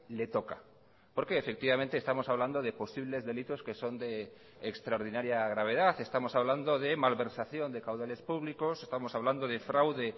le toca porque efectivamente estamos hablando de posibles delitos que son de extraordinaria gravedad estamos hablando de malversación de caudales públicos estamos hablando de fraude